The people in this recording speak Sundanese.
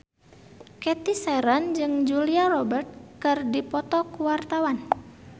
Cathy Sharon jeung Julia Robert keur dipoto ku wartawan